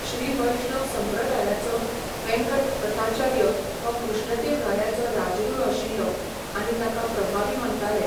श्रीवैष्णव संप्रदायाचो वेंकट तथाचार्य हो कृष्णदेव रायाचो राजगुरू आशिल्लो, आनी ताका प्रभावी मानताले.